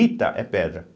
Ita é pedra.